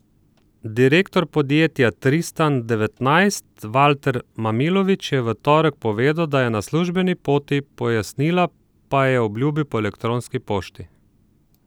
Direktor podjetja Tristan devetnajst Valter Mamilović je v torek povedal, da je na službeni poti, pojasnila pa je obljubil po elektronski pošti.